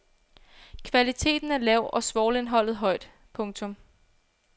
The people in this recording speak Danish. Kvaliteten er lav og svovlindholdet højt. punktum